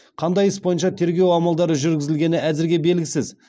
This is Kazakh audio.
қандай іс бойынша тергеу амалдары жүргізілгені әзірге белгісіз